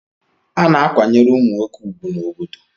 A na-akwanyere ụmụ nwoke ugwu n'obodo